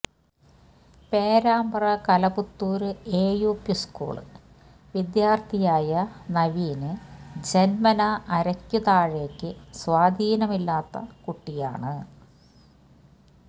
Perambra Kalapathur A U P school വിദ്യാര്ത്ഥിയായ നവീന് ജന്മനാ അരയ്ക്ക് താഴേക്ക് സ്വാധീനമില്ലാത്ത കുട്ടിയാണ്